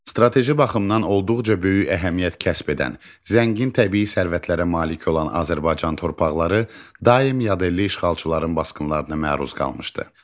Strateji baxımdan olduqca böyük əhəmiyyət kəsb edən, zəngin təbii sərvətlərə malik olan Azərbaycan torpaqları daim yadelli işğalçıların basqınlarına məruz qalmışdı.